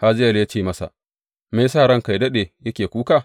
Hazayel ya ce masa, Me ya sa ranka yă daɗe yake kuka?